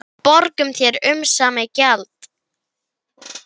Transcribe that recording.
Við borgum þér umsamið gjald